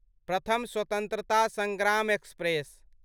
प्रथम स्वत्रान्तता संग्राम एक्सप्रेस